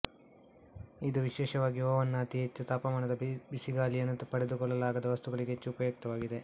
ಇದು ವಿಶೇಷವಾಗಿ ಒವನ್ ನ ಅತಿ ಹೆಚ್ಚು ತಾಪಮಾನದ ಬಿಸಿಗಾಳಿಯನ್ನು ತಡೆದುಕೊಳ್ಳಲಾಗದ ವಸ್ತುಗಳಿಗೆ ಹೆಚ್ಚು ಉಪಯುಕ್ತವಾಗಿದೆ